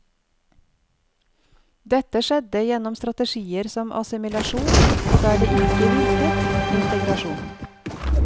Dette skjedde gjennom strategier som assimilasjon, og der det ikke virket, integrasjon.